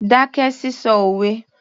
Dákẹ́ sísọ òwe